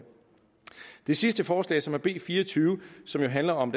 det sidste afsnit forslag som er b fire og tyve og som handler om